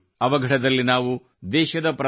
ಈ ಅವಘಡದಲ್ಲಿ ನಾವು ದೇಶದ ಪ್ರಥಮ